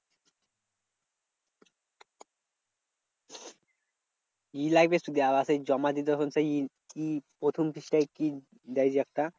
আবার সেই জমা দিতে হলে সেই কি প্রথম পৃষ্ঠায় কি দেয় যে একটা?